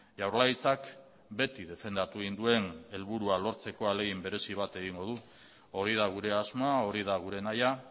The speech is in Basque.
jaurlaritzak beti defendatu egin duen helburua lortzeko ahalegin berezi bat egingo du hori da gure asmoa hori da gure nahia